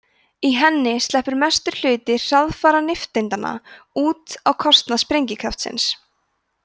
í henni sleppur mestur hluti hraðfara nifteindanna út á kostnað sprengikraftsins